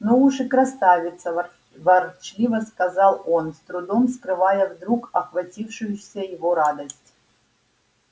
ну уж и красавица вор ворчливо сказал он с трудом скрывая вдруг охватившуюся его радость